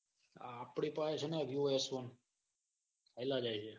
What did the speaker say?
આપડી ફે ને વિવો એસ વન